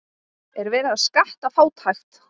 Er verið að skatta fátækt?